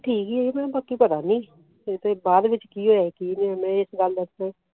ਠੀਕ ਹੈ ਮੈਂ ਕਿਹਾ ਬਾਕੀ ਪਤਾ ਨੀ ਬਾਅਦ ਵਿਚ ਕੀ ਹੋਇਆ ਕੀ ਨਹੀਂ